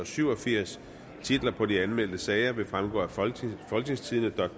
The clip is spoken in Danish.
syv og firs titlerne på de anmeldte sager vil fremgå af folketingstidende